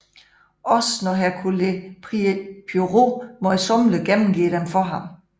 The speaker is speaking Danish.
Også når Hercule Poirot møjsommeligt gennemgår dem for ham